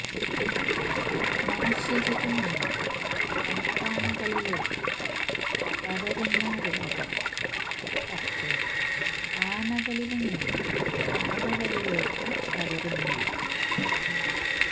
മനുഷ്യരില് നിന്ന് കാട്ടാനകളിലേയ്ക്ക് പകരുന്ന രോഹം പക്ഷെ ആനകളില് നിന്ന് ആനകളിലേയ്ക്ക് പകരുന്നില്ല